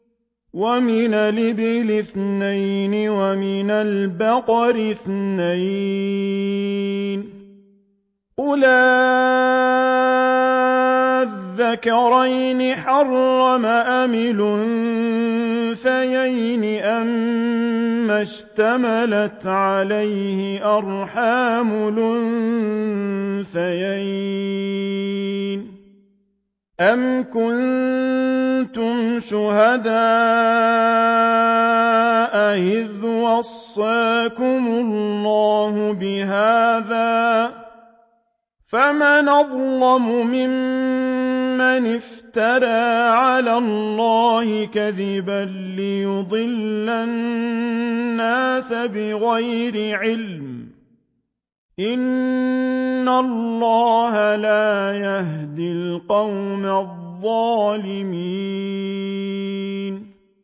وَمِنَ الْإِبِلِ اثْنَيْنِ وَمِنَ الْبَقَرِ اثْنَيْنِ ۗ قُلْ آلذَّكَرَيْنِ حَرَّمَ أَمِ الْأُنثَيَيْنِ أَمَّا اشْتَمَلَتْ عَلَيْهِ أَرْحَامُ الْأُنثَيَيْنِ ۖ أَمْ كُنتُمْ شُهَدَاءَ إِذْ وَصَّاكُمُ اللَّهُ بِهَٰذَا ۚ فَمَنْ أَظْلَمُ مِمَّنِ افْتَرَىٰ عَلَى اللَّهِ كَذِبًا لِّيُضِلَّ النَّاسَ بِغَيْرِ عِلْمٍ ۗ إِنَّ اللَّهَ لَا يَهْدِي الْقَوْمَ الظَّالِمِينَ